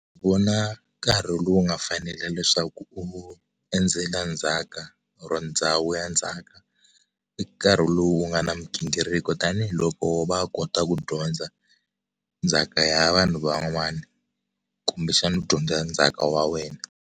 Vona nkarhi lowu nga fanela leswaku u endzela ndzhaka or ndhawu ya ndzhaka i nkarhi lowu nga na migingiriko tanihiloko va kota ku dyondza ndzhaka ya vanhu van'wana kumbe xana u dyondza ndzhaka wa wena.